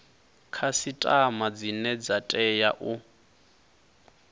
khasiṱama dzine dza tea u